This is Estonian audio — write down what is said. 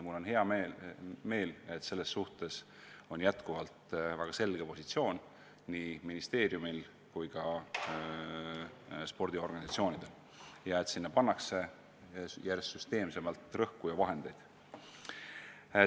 Mul on hea meel, et selles suhtes on jätkuvalt väga selge positsioon nii ministeeriumil kui ka spordiorganisatsioonidel ja et sellele teemale pannakse järjest süsteemsemalt rõhku, eraldades selleks ka vahendeid.